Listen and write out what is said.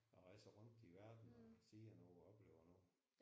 Og rejser rundt i verden og ser noget og oplever noget